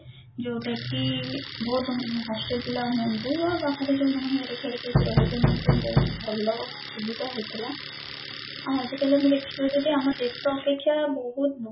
ଯୋଉଟା କି ବହୁତ hostel ପିଲା ହୁଅନ୍ତୁ ବା ବାହାରେ ଯୋଉମାନେ ଘର ଛାଡିକି ଆସି ରହଛନ୍ତି ତାଙ୍କ ପାଇଁ ବହୁତ ଭଲ ସୁବିଧା ହେଇଥିଲା ଆଉ ଆଜିକଳୟ ଆମେ ଦେଖିବା ଯଦି ଆମ ଦେଶ ଅପେକ୍ଷା ବହୁତ